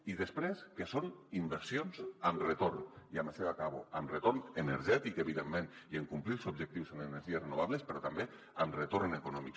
i després que són inversions amb retorn i amb això ja acabo amb retorn energètic evidentment i en complir els objectius en energies renovables però també amb retorn econòmic